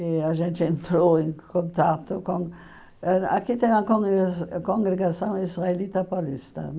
E a gente entrou em contato com... Aqui tem a Congregaç Congregação Israelita Paulista.